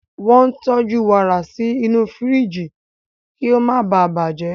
Wọ́n ń tọ́jú warà sí inú firiji kí ó má ​​baà bàjẹ́.